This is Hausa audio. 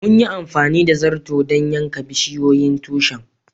Mun yi amfani da zarto dan yankan bisiyoyin tushin.